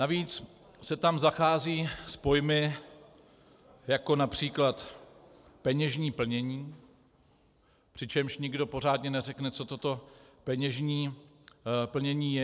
Navíc se tam zachází s pojmy jako například peněžní plnění, přičemž nikdo pořádně neřekne, co toto peněžní plnění je.